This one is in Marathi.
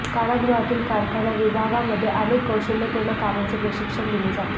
कारागृहातील कारखाना विभागामध्ये अनेक कौशल्यपूर्ण कामांचे प्रशिक्षण दिले जाते